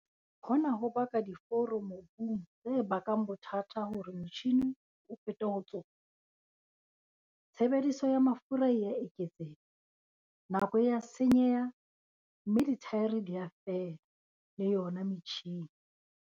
Hona ho baka diforo mobung tse bakang bothata hore motjhine o fete ho tsona. Tshebediso ya mafura e a eketseha, nako e a senyeha, mme dithaere di a fela, le yona metjhine.